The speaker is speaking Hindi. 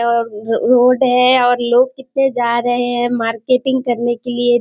और रोड है और लोग कितने जा रहे है मार्केटिंग करने के लिए।